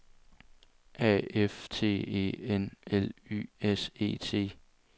A F T E N L Y S E T